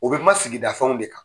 U bɛ ma sigida fɛnw de kan.